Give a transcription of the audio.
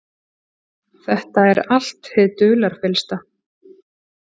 Þetta er allt hið dularfyllsta.